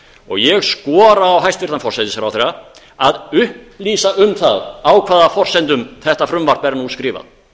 og ég skora á hæstvirtan forsætisráðherra að upplýsa um það á hvaða forsendum þetta frumvarp er nú skrifað